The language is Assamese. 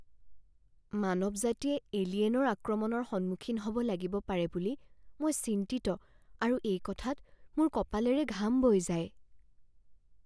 মানৱ জাতিয়ে এলিয়েনৰ আক্ৰমণৰ সন্মুখীন হ'ব লাগিব পাৰে বুলি মই চিন্তিত আৰু এই কথাত মোৰ কপালেৰে ঘাম বৈ যায়।